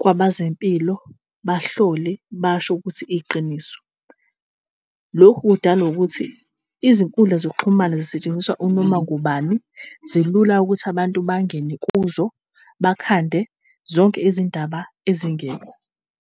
kwabazempilo, bahlole basho ukuthi iyiqiniso. Lokhu kudalwa ukuthi izinkundla zokuxhumana zisetshenziswa unoma ngubani, zilula ukuthi abantu bangene kuzo bakhande zonke izindaba ezingekho.